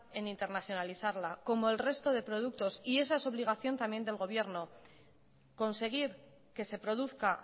en internacionalizarla como el resto de productos y esa es obligación también del gobierno conseguir que se produzca